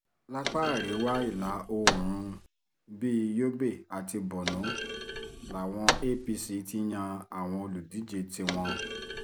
lápá àríwá ìlà oòrùn bíi yobe àti borno làwọn apc ti yan àwọn olùdíje tiwọn